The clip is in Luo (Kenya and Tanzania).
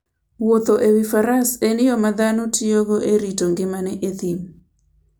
Wuotho e wi faras en yo ma dhano tiyogo e rito ngimagi e thim.